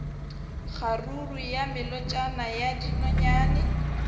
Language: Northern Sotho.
kgaruru ya melotšana ya dinonyane